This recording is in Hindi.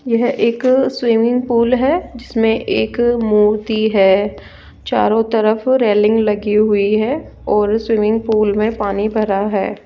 यह एक स्विमिंग पूल है जिसमें एक मूर्ति है चारों तरफ रेलिंग लगी हुई है और स्विमिंग पूल में पानी भरा है।